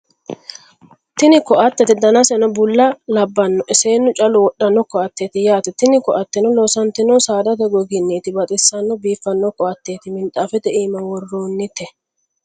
Tini ko'atteti. dannasenno bulla labbanoe seenu callu wodhanno koatette yaatte tini koatenno loosanitinohu saadate gogginitti baxisanona biifano koatteti minixafette ima worronnitte